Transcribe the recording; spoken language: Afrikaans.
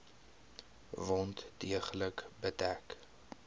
wond deeglik bedek